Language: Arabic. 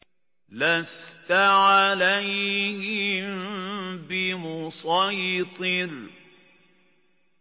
لَّسْتَ عَلَيْهِم بِمُصَيْطِرٍ